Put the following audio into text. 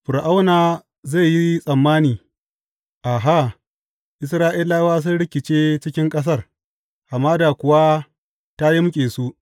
Fir’auna zai yi tsammani, Aha, Isra’ilawa sun rikice cikin ƙasar, hamada kuwa ta yimƙe su.’